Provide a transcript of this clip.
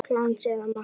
Glans eða matt?